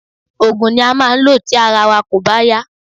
Oògùn ni a máa ń lò tí ara wa kò bá yá